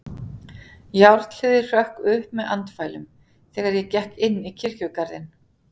Járnhliðið hrökk upp með andfælum, þegar ég gekk inn í kirkjugarðinn.